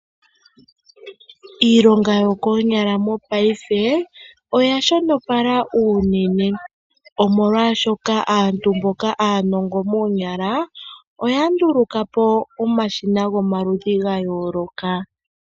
Iilonga yokonyala mopayife oya shonopala unene omolwashoka aantu mboka aanongo moonyala oya ndulukapo omasina gomaludhi ga yooloka.